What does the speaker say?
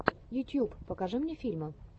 ютьюб покажи мне фильмы